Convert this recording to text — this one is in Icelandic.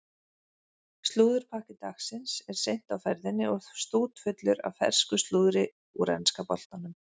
Slúðurpakki dagsins er seint á ferðinni og stútfullur af fersku slúðri úr enska boltanum.